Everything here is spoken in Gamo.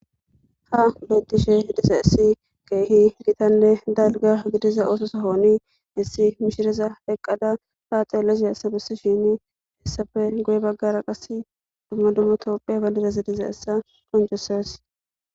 Ha beettishe diza essi geehi gitanne dalga gidiza oososahooni hissi mishireza eqqada faaxeele za esa bessi shin heessafe goye baggara qas dumma dummatoopphe bandidasi diza essa qoncoses.